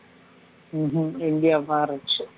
ம்ஹுகும் India மாறிருச்சு